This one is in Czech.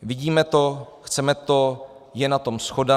Vidíme to, chceme to, je na tom shoda.